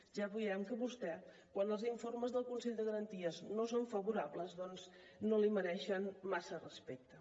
ja veiem que a vostè quan els informes del consell de garanties no els són favorables doncs no li mereixen massa respecte